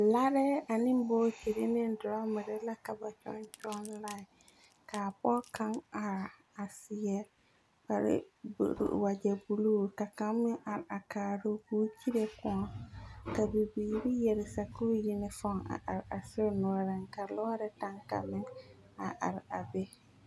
Larɛɛ ane bootiri ne dorɔmere la ka ba kyɔŋ kyɔŋ lãẽ. Kaa pɔge kaŋ are a seɛ kpare wagyɛ buluu ka kaŋ meŋ are a kaaro ko kyire kõɔ ka bibiiri yɛre sakuuri yinifɔn a are a sori noɔreŋ ka lɔɔre kaŋ kaŋ meŋ a are a be.